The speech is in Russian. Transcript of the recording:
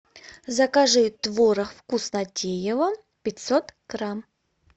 закажи творог вкуснотеево пятьсот грамм